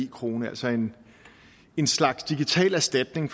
krone altså en en slags digital erstatning